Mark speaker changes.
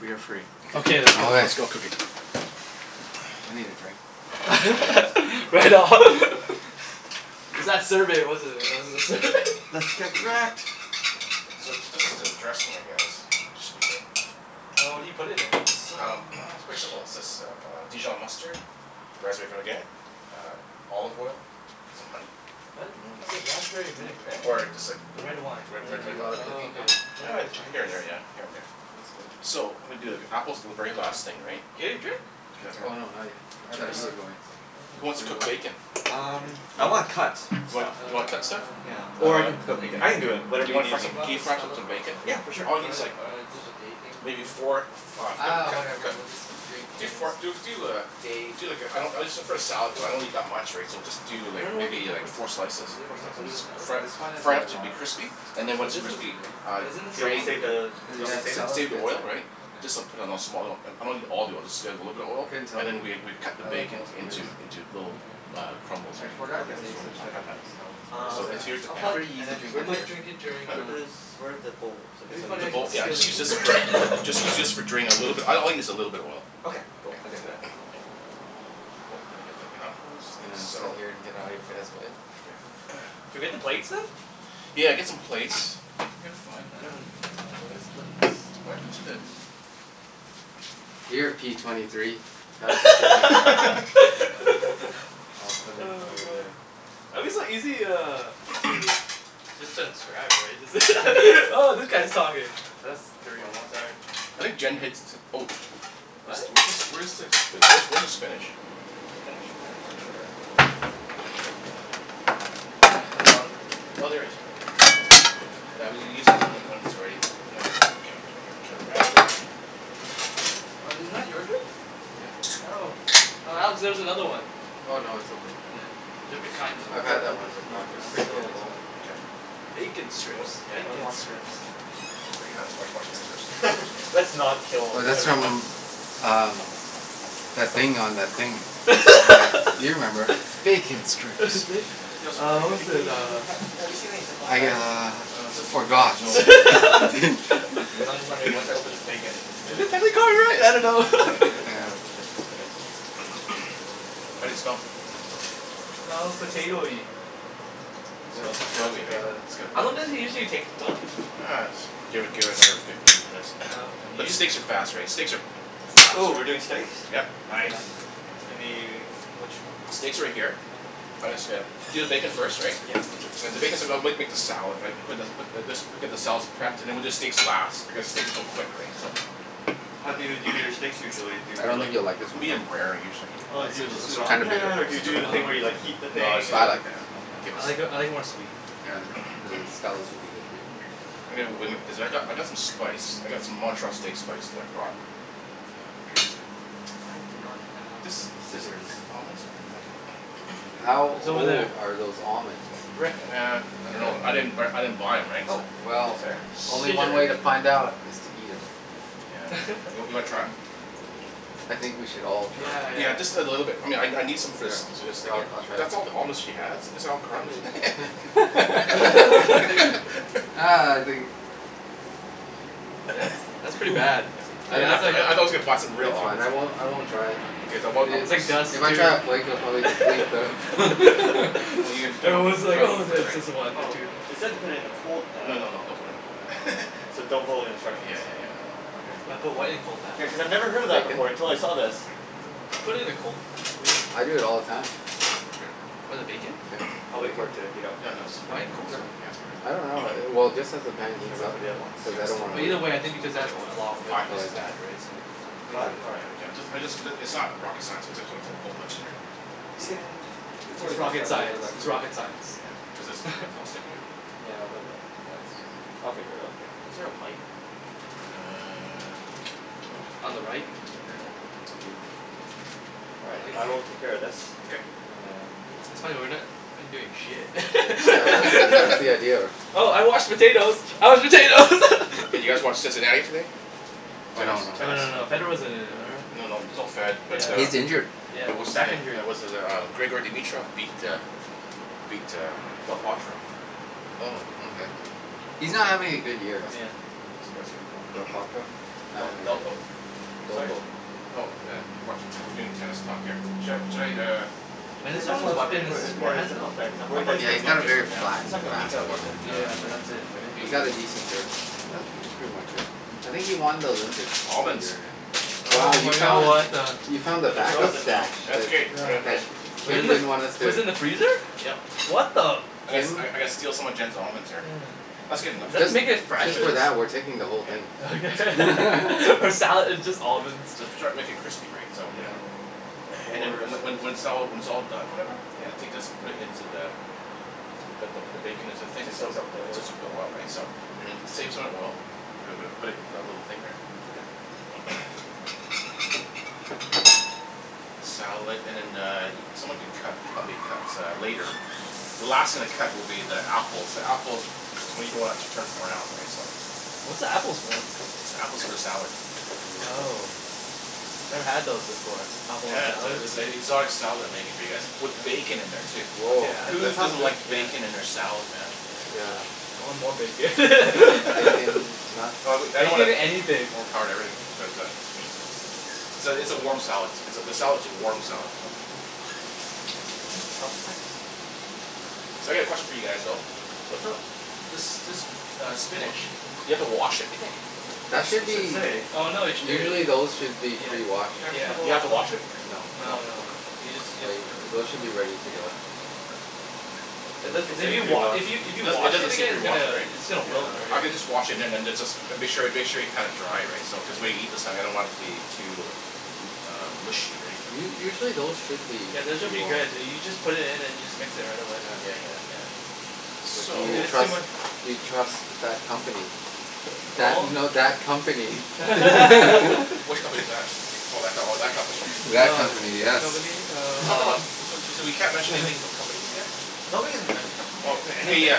Speaker 1: We are free.
Speaker 2: Okay.
Speaker 3: Let's go cook it.
Speaker 2: I need a drink.
Speaker 3: Yes.
Speaker 4: Right on. It's that survey, wasn't it? It was the sur-
Speaker 1: Let's get cracked.
Speaker 3: So, this is the dressing, I guess. This should be good.
Speaker 4: Oh, what do you put in
Speaker 2: It's
Speaker 4: it?
Speaker 2: so
Speaker 3: Um it's
Speaker 2: much.
Speaker 3: pretty simple. It's just uh dijon mustard, raspberry vinaigrette, uh olive oil, some honey.
Speaker 4: What? Is it raspberry vinaigrette?
Speaker 3: Or just like
Speaker 4: The red wine
Speaker 3: Re-
Speaker 2: Do
Speaker 3: red wine
Speaker 2: you do a lot of
Speaker 4: Oh,
Speaker 3: vinaigrette.
Speaker 2: cooking, Don?
Speaker 4: okay.
Speaker 3: Uh,
Speaker 4: Very
Speaker 3: here
Speaker 4: Chinese.
Speaker 3: and there, yeah. Here and there.
Speaker 2: That's good.
Speaker 3: So, I'm gonna do, like, apples are the very last thing, right?
Speaker 4: Yeah, you drink?
Speaker 2: Oh,
Speaker 1: Okay.
Speaker 2: no. Not yet. I thought you were going to.
Speaker 3: Who wants
Speaker 2: What
Speaker 3: to
Speaker 2: do you
Speaker 3: cook
Speaker 2: want?
Speaker 3: bacon?
Speaker 2: What are you
Speaker 1: Um,
Speaker 2: drinking?
Speaker 3: You
Speaker 1: I
Speaker 3: wanna
Speaker 1: wanna cut
Speaker 3: cook,
Speaker 1: stuff
Speaker 4: Uh
Speaker 3: like You wanna cut stuff?
Speaker 1: Yeah.
Speaker 4: not now.
Speaker 1: Or I can
Speaker 4: I
Speaker 1: cook
Speaker 4: thought
Speaker 1: it.
Speaker 4: you're
Speaker 1: I
Speaker 4: gonna
Speaker 1: can
Speaker 4: get
Speaker 1: do
Speaker 4: you
Speaker 1: it.
Speaker 3: Do
Speaker 1: Whatever
Speaker 3: you
Speaker 1: you
Speaker 3: wanna
Speaker 1: need
Speaker 3: fry
Speaker 4: He
Speaker 3: some,
Speaker 1: me
Speaker 4: bought
Speaker 3: can
Speaker 4: the
Speaker 3: fry up
Speaker 4: Stella
Speaker 3: some
Speaker 4: for us,
Speaker 3: bacon?
Speaker 4: right?
Speaker 1: Yeah. For sure.
Speaker 3: All you need
Speaker 4: Or
Speaker 3: is
Speaker 4: the,
Speaker 3: like
Speaker 4: or did the day thing,
Speaker 3: Maybe
Speaker 4: whatever.
Speaker 3: four of uh
Speaker 2: Uh,
Speaker 3: cut
Speaker 2: whatever
Speaker 3: cut
Speaker 2: we'll just drink
Speaker 3: Do
Speaker 2: Kim's
Speaker 3: four do do uh
Speaker 2: day.
Speaker 3: Do like a, I don't, it's just for a salad, so I don't need that much, right. So just do
Speaker 4: I
Speaker 3: like,
Speaker 4: don't know what the
Speaker 3: maybe like
Speaker 4: difference
Speaker 3: four
Speaker 4: is.
Speaker 3: slices.
Speaker 4: Is it
Speaker 1: Four
Speaker 4: one better than
Speaker 1: slices?
Speaker 4: the other?
Speaker 3: Fry it
Speaker 2: This one is
Speaker 3: fry
Speaker 2: one of
Speaker 3: it
Speaker 2: the
Speaker 3: to be
Speaker 2: lagers.
Speaker 3: crispy. And
Speaker 4: But this
Speaker 3: then once
Speaker 4: is,
Speaker 3: crispy, uh
Speaker 4: but isn't
Speaker 1: Do
Speaker 4: this
Speaker 1: you want
Speaker 4: some
Speaker 1: me to
Speaker 3: drain
Speaker 4: other
Speaker 1: save the,
Speaker 4: dude?
Speaker 1: do you want me
Speaker 2: Yeah,
Speaker 1: to
Speaker 3: s-
Speaker 1: save it?
Speaker 3: s-
Speaker 2: salad's
Speaker 3: save the
Speaker 2: good too.
Speaker 3: oil, right.
Speaker 1: Okay.
Speaker 3: Just uh, put it in a small. I'm not a need all the oil. Just add a little bit of
Speaker 2: I
Speaker 3: oil.
Speaker 2: couldn't tell
Speaker 3: And
Speaker 2: you.
Speaker 3: then we we'd cut the
Speaker 2: I like
Speaker 3: bacon
Speaker 2: most beers.
Speaker 3: into, into little
Speaker 4: Oh okay.
Speaker 3: uh crumbles,
Speaker 2: I
Speaker 3: right.
Speaker 2: forgot the
Speaker 1: Okay. That's
Speaker 2: taste
Speaker 1: cool.
Speaker 2: of
Speaker 1: I got that.
Speaker 2: of Stella's. But
Speaker 1: Um.
Speaker 3: So
Speaker 2: it's
Speaker 3: it's, here's the pan.
Speaker 2: um pretty
Speaker 1: And
Speaker 2: easy
Speaker 1: then
Speaker 4: I
Speaker 1: where
Speaker 2: drinking
Speaker 1: does
Speaker 4: might
Speaker 2: beer.
Speaker 4: drink during
Speaker 1: where
Speaker 4: uh,
Speaker 1: does, where're the bowls? I guess
Speaker 4: it'd be
Speaker 1: I'll
Speaker 4: funny
Speaker 3: The
Speaker 1: use
Speaker 4: if I'd
Speaker 1: one.
Speaker 3: bowl, yeah,
Speaker 4: steal
Speaker 3: just
Speaker 4: a
Speaker 3: use
Speaker 4: k-
Speaker 3: this for, just need to use for drain, a little bit. All I need is a little bit of oil.
Speaker 1: Okay. Cool. I can do that.
Speaker 3: Yeah, cool. And then get the
Speaker 2: Just
Speaker 3: apples.
Speaker 2: gonna sit
Speaker 3: Salt
Speaker 2: here and get out of your guys' way.
Speaker 3: Okay.
Speaker 4: Can we get the plates then?
Speaker 3: Yeah. Get some plates. Yeah, it's fine,
Speaker 4: I
Speaker 3: I
Speaker 4: don't
Speaker 3: dunno
Speaker 4: know, uh where are his plates? Oh yeah.
Speaker 2: Here, P twenty three. I'll put it
Speaker 4: Oh my
Speaker 2: over
Speaker 4: god!
Speaker 2: there.
Speaker 4: I'm just like easy uh, to just transcribe, right? Oh, that guy's talking. That's three
Speaker 2: One more.
Speaker 4: almost. All right.
Speaker 3: I think Jen hits, oh sh- This
Speaker 4: What?
Speaker 3: do- where's this where's this, where's the spinach?
Speaker 1: Spinach? I'm not sure.
Speaker 4: In the bottom right there?
Speaker 3: Oh, there it is. Okay. That's good. Now, we'll use when that when it's ready, or I guess, Get around there
Speaker 4: Was it not your drink?
Speaker 3: Yeah.
Speaker 4: Oh. Oh, Alex, there's another one.
Speaker 2: Oh, no. It's okay.
Speaker 4: Yeah. Different kind
Speaker 2: I've
Speaker 4: though.
Speaker 2: had that
Speaker 1: This
Speaker 2: one
Speaker 1: is
Speaker 2: before.
Speaker 1: not
Speaker 2: It's pretty good as
Speaker 1: resealable.
Speaker 2: well.
Speaker 3: Okay.
Speaker 4: Bacon
Speaker 3: What
Speaker 4: strips.
Speaker 3: yeah.
Speaker 4: Bacon strips.
Speaker 3: Clean your hands. Wash wash your hands first.
Speaker 2: Let's not
Speaker 4: Well
Speaker 2: kill
Speaker 4: that's from
Speaker 2: everyone.
Speaker 4: um that thing on that thing.
Speaker 2: Yeah. You remember. "Bacon strips"
Speaker 3: These look
Speaker 4: Uh
Speaker 3: pretty
Speaker 4: what was
Speaker 1: Do
Speaker 4: it,
Speaker 3: good.
Speaker 1: we
Speaker 4: uh
Speaker 1: ha- have you seen any zip lock
Speaker 2: I
Speaker 1: bags?
Speaker 2: uh
Speaker 3: Uh zip lock bag?
Speaker 2: forgot.
Speaker 3: No.
Speaker 1: Okay. Hey, I was just wondering, once I open this bacon, what's the
Speaker 4: Have we got it right? I don't know.
Speaker 1: It would be good to
Speaker 2: Yeah.
Speaker 1: have a place to put it.
Speaker 3: How do they smell?
Speaker 2: Smells potatoey.
Speaker 3: Smells potatoey, right? It's got
Speaker 4: How
Speaker 3: a
Speaker 4: long
Speaker 3: bit
Speaker 4: does it usually take to cook?
Speaker 3: Uh, just give it give it another fifteen minutes.
Speaker 4: Oh, okay.
Speaker 3: But steaks are fast, right? Steaks are fast,
Speaker 1: Ooh, we're doing
Speaker 3: right?
Speaker 1: steaks?
Speaker 3: Yep.
Speaker 1: Nice. Any, which
Speaker 3: Steaks are right here.
Speaker 1: uh-huh.
Speaker 3: I guess uh, you do the bacon first, right?
Speaker 1: Yeah, I'll do this
Speaker 3: make the salad, right. Put the put this put the just get the salad's prepped, and then we'll do the steaks last, because steaks are so quick, right. So
Speaker 1: How do you do your steaks usually? Do you
Speaker 2: I
Speaker 1: do
Speaker 2: don't
Speaker 1: like
Speaker 2: think you'll like this
Speaker 1: the
Speaker 2: one though.
Speaker 3: Medium rare, usually.
Speaker 4: Oh
Speaker 1: Oh
Speaker 4: is
Speaker 1: do you
Speaker 4: it
Speaker 1: just
Speaker 4: a
Speaker 1: do it
Speaker 2: It's
Speaker 1: on the
Speaker 4: song?
Speaker 2: kind of bitter.
Speaker 1: pan, or do you do the thing where you like heat the
Speaker 3: No, let's
Speaker 1: thing
Speaker 2: But
Speaker 1: and
Speaker 3: do it
Speaker 2: I
Speaker 3: on the
Speaker 2: like it.
Speaker 3: pan. Keep it
Speaker 4: I like
Speaker 3: simple
Speaker 4: I like it more sweet.
Speaker 2: Yeah. The Stella's would be good for you.
Speaker 3: I mean when, cuz I've got
Speaker 1: Uh
Speaker 3: I've got some spice. I got some Montreal steak spice that I brought. Uh, here is the
Speaker 1: I do not have scissors.
Speaker 2: How
Speaker 4: It's over there.
Speaker 2: old are those almonds?
Speaker 4: Rick,
Speaker 3: Nah,
Speaker 4: there.
Speaker 3: I don't know. I didn't b- I didn't buy 'em, right?
Speaker 1: Oh,
Speaker 3: So
Speaker 1: thank you
Speaker 2: Well
Speaker 1: sir.
Speaker 2: Only one way to find
Speaker 4: Scissors.
Speaker 2: out, is to eat 'em.
Speaker 3: Yeah. You w- you wanna try 'em?
Speaker 2: I think we should all
Speaker 4: Yeah,
Speaker 2: try.
Speaker 3: Yeah.
Speaker 4: yeah.
Speaker 3: Just a little bit. I mean I n- I need some
Speaker 2: Yeah, I'll I'll try.
Speaker 3: That's all the almonds she has? These are all crumbs.
Speaker 2: Ah, I think
Speaker 4: That's that's pretty bad.
Speaker 2: I
Speaker 4: But
Speaker 2: di-
Speaker 4: I was like
Speaker 3: you a box of real
Speaker 2: it's fine,
Speaker 3: almonds.
Speaker 2: I won't I won't try.
Speaker 3: Okay. Then
Speaker 4: It
Speaker 3: what
Speaker 4: was like dust,
Speaker 2: If I try a flake I'll
Speaker 4: dude.
Speaker 2: probably deplete the
Speaker 4: It was like, oh it's just one or
Speaker 1: Oh,
Speaker 4: two.
Speaker 1: it said to put it in a cold
Speaker 3: No,
Speaker 1: pan.
Speaker 3: no, no. Don't put it in a cold pan.
Speaker 1: So don't follow the
Speaker 3: Yeah
Speaker 1: instructions.
Speaker 3: yeah yeah, no no.
Speaker 1: Okay.
Speaker 4: Put what in a cold pan?
Speaker 1: Yeah, cuz I've never heard of that before until I saw this.
Speaker 3: Here.
Speaker 4: Oh, I put it in the cold.
Speaker 2: I do it all the time.
Speaker 4: What, the
Speaker 3: Here.
Speaker 4: bacon?
Speaker 2: Yeah.
Speaker 1: I'll wait for it to heat up
Speaker 3: Yeah,
Speaker 1: and
Speaker 3: no,
Speaker 1: then
Speaker 3: just put
Speaker 4: Why
Speaker 3: it
Speaker 4: in cold?
Speaker 3: in
Speaker 1: Sure?
Speaker 3: just
Speaker 2: I don't
Speaker 3: put it in.
Speaker 2: know. Well, just as the pan
Speaker 1: Should I
Speaker 2: heats
Speaker 1: wait
Speaker 2: up,
Speaker 1: for the other ones?
Speaker 2: cuz
Speaker 3: Yeah.
Speaker 2: I
Speaker 3: That's
Speaker 2: don't
Speaker 3: too
Speaker 2: wanna
Speaker 4: But
Speaker 3: many.
Speaker 4: either way, I think
Speaker 3: There's
Speaker 4: because it
Speaker 3: probably
Speaker 4: adds
Speaker 3: like
Speaker 4: a lot of
Speaker 3: f-
Speaker 4: oil
Speaker 3: five pieces
Speaker 4: and
Speaker 3: in there.
Speaker 4: fat, right, so
Speaker 1: Five? All right.
Speaker 3: Yeah. I just I just, it's not rocket science. It's just, put a whole bunch in there.
Speaker 1: We can, it's
Speaker 4: It's
Speaker 1: always nice to
Speaker 4: rocket
Speaker 1: have a little bit
Speaker 4: science.
Speaker 1: of extra
Speaker 4: It's
Speaker 1: bacon.
Speaker 4: rocket
Speaker 3: Yeah. This
Speaker 4: science.
Speaker 3: is all sticking here.
Speaker 1: Yeah, a little bit. That's, I'll figure it out.
Speaker 3: Yeah. Is there a light? Uh
Speaker 4: On the right.
Speaker 3: Here you go.
Speaker 1: Thank you. All right, I will take care of this.
Speaker 3: Okay.
Speaker 1: And
Speaker 4: That's funny, we're not doing shit.
Speaker 2: that's the idea of her.
Speaker 4: Oh, I washed the potatoes. I washed potatoes.
Speaker 3: Hey, did you guys watch Cincinnati today? Tennis.
Speaker 1: Oh
Speaker 4: Oh
Speaker 1: no,
Speaker 4: no no
Speaker 2: Tennis?
Speaker 4: no.
Speaker 1: no.
Speaker 4: Federer wasn't in it, or
Speaker 3: No, no. There's no Fed, but uh
Speaker 2: He's injured.
Speaker 4: Yeah,
Speaker 3: But what's his
Speaker 4: back
Speaker 3: name,
Speaker 4: injury.
Speaker 3: uh what's his uh, Grigor Dimitrov beat uh beat uh Del Potro
Speaker 2: Oh, okay. He's not
Speaker 3: Awesome.
Speaker 2: having a good
Speaker 3: That's
Speaker 2: year.
Speaker 4: Yeah.
Speaker 3: cool. That's cool.
Speaker 4: Del Potro?
Speaker 3: Uh, D- Delpo?
Speaker 1: Sorry?
Speaker 3: Oh, yeah. We're doing tennis talk here. Should I should I, uh
Speaker 4: And
Speaker 1: Yeah,
Speaker 4: his
Speaker 1: that's
Speaker 4: only
Speaker 1: why I was
Speaker 4: weapon
Speaker 1: wondering
Speaker 4: is
Speaker 1: wh-
Speaker 4: his
Speaker 1: if we had a
Speaker 4: forehand
Speaker 1: zip
Speaker 4: though?
Speaker 1: lock bag because I'm
Speaker 3: I'll
Speaker 1: worried that
Speaker 3: put it
Speaker 1: it's
Speaker 2: Yeah,
Speaker 3: here,
Speaker 1: gonna
Speaker 2: he's
Speaker 1: leak.
Speaker 3: I'll
Speaker 2: got
Speaker 3: put it
Speaker 2: a
Speaker 3: here
Speaker 2: very
Speaker 3: for now.
Speaker 2: flat
Speaker 1: It's
Speaker 2: and
Speaker 1: not gonna leak
Speaker 2: fast
Speaker 1: out, is
Speaker 2: forehand.
Speaker 1: it?
Speaker 3: Nah.
Speaker 4: Yeah. But that's it, right?
Speaker 2: You got
Speaker 3: Hey!
Speaker 2: a decent That's pretty much it. I think he won the Olympic
Speaker 3: Almonds.
Speaker 2: Wow,
Speaker 4: Oh
Speaker 2: you
Speaker 4: my god,
Speaker 2: found
Speaker 4: what
Speaker 2: the
Speaker 4: the
Speaker 2: You found the
Speaker 1: But they're
Speaker 2: back up
Speaker 1: frozen now.
Speaker 2: stash
Speaker 3: That's okay. I'm gonna I'm
Speaker 4: Yeah.
Speaker 2: That
Speaker 1: Just
Speaker 2: you
Speaker 4: Wasn't
Speaker 1: microwave
Speaker 4: it,
Speaker 2: didn't
Speaker 3: gonna
Speaker 1: them?
Speaker 2: want us
Speaker 4: it
Speaker 2: to
Speaker 4: was in the freezer?
Speaker 3: Yep.
Speaker 4: What the
Speaker 3: I gotta st- I
Speaker 2: Kim
Speaker 3: I gotta steal some of Jen's almonds here. That's good enough.
Speaker 4: Is that to make it fresh
Speaker 2: Just
Speaker 4: or
Speaker 2: for
Speaker 4: s-
Speaker 2: that, we're taking the whole
Speaker 3: Yeah.
Speaker 2: thing.
Speaker 4: Okay. For salad. It's just almonds.
Speaker 3: So to try and make it crispy, right. So
Speaker 1: Yeah.
Speaker 3: And then,
Speaker 1: More
Speaker 3: and
Speaker 1: so-
Speaker 3: when when it's all, when it's all done, or whatever
Speaker 1: Yeah.
Speaker 3: You take this, put it into the the, the bacon into the thing
Speaker 1: To soak up the
Speaker 3: It
Speaker 1: oil.
Speaker 3: soaks up the oil, right. So, and then save some of the oil. We're gonna put it in our little thing here.
Speaker 1: Okay.
Speaker 3: Salad and then the, someone could cut, help me cut uh later. The last thing to cut will be the apples. The apples, you don't wanna turn brown, right, so
Speaker 4: What's the apples for?
Speaker 3: The apple's for the salad.
Speaker 4: Oh. Never had those before. Apple in a
Speaker 3: Yes.
Speaker 4: salad.
Speaker 3: It's a exotic style that I'm making for you guys, with bacon in there too.
Speaker 2: Woah.
Speaker 3: Whose
Speaker 2: That sounds
Speaker 3: doesn't
Speaker 2: good.
Speaker 3: like
Speaker 2: Yeah.
Speaker 4: Yeah.
Speaker 3: bacon in their salad, man?
Speaker 2: Yeah.
Speaker 4: I want more bacon.
Speaker 2: Bacon, nuts.
Speaker 3: Oh I w- I don't wanna
Speaker 4: Bacon anything.
Speaker 3: overpower the herb but uh. So, it's a warm salad. It's a, the salad's a warm salad though. So, I got a question for you guys though.
Speaker 1: What's up?
Speaker 3: This this uh spinach, do you have to wash it, do you think?
Speaker 2: That should
Speaker 1: It should
Speaker 2: be
Speaker 1: say.
Speaker 4: Oh no they sh-
Speaker 2: Usually those should be
Speaker 4: Yeah.
Speaker 2: pre-washed.
Speaker 1: Here's the
Speaker 3: Do you have to
Speaker 1: bowl.
Speaker 3: wash it?
Speaker 2: No.
Speaker 4: No, no.
Speaker 2: Yeah. Those should be ready to
Speaker 4: Yeah.
Speaker 2: go.
Speaker 1: It doesn't
Speaker 4: If
Speaker 1: say
Speaker 4: you wa-
Speaker 1: pre-washed.
Speaker 4: if you if
Speaker 3: It
Speaker 4: you
Speaker 3: doesn't it
Speaker 4: wash
Speaker 3: doesn't
Speaker 4: it
Speaker 3: say
Speaker 4: again it's
Speaker 3: pre-washed,
Speaker 4: gonna
Speaker 3: right?
Speaker 4: it's gonna wilt,
Speaker 3: I
Speaker 4: right?
Speaker 1: Yeah.
Speaker 3: can just wash it and then it's just, make sure y- make sure you pat it dry, right? So cuz when we eat this I don't want the it to be um too uh mushy, right?
Speaker 2: U- usually those should be
Speaker 4: Yeah. This should be good. You you just put it in and you just mix it right away.
Speaker 3: Yeah yeah yeah.
Speaker 4: S-
Speaker 3: So
Speaker 2: Do you
Speaker 4: it's too
Speaker 2: trust
Speaker 4: much.
Speaker 2: do you trust that company? That, no that company.
Speaker 3: Which company is that? Oh, that co- that company.
Speaker 2: That
Speaker 4: Oh,
Speaker 2: company,
Speaker 4: yeah, that
Speaker 2: yes.
Speaker 4: company. Uh
Speaker 3: Talk about,
Speaker 4: uh
Speaker 3: so, so we can't mention anything about companies here?
Speaker 1: No, we didn't mention company
Speaker 3: Okay,
Speaker 1: names, yeah.
Speaker 3: yeah.